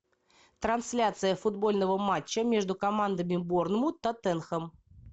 трансляция футбольного матча между командами борнмут тоттенхэм